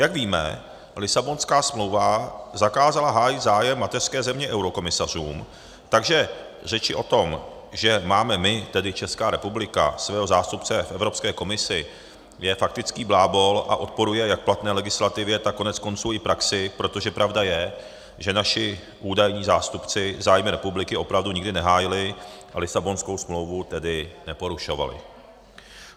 Jak víme, Lisabonská smlouva zakázala hájit zájem mateřské země eurokomisařům, takže řeči o tom, že máme my, tedy Česká republika, svého zástupce v Evropské komisi je faktický blábol a odporuje jak platné legislativě, tak koneckonců i praxi, protože pravda je, že naši údajní zástupci zájmy republiky opravdu nikdy nehájili, a Lisabonskou smlouvu tedy neporušovali.